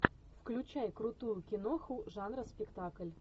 включай крутую киноху жанра спектакль